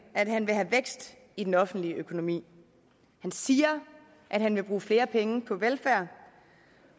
at han vil have vækst i den offentlige økonomi han siger at han vil bruge flere penge på velfærd